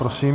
Prosím.